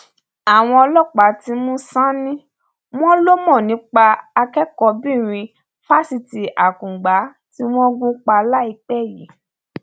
àwọn ọlọpàá ti mú sánnì wọn lọ mọ nípa akẹkọọbìnrin fásitì akungba tí wọn gún pa láìpẹ yìí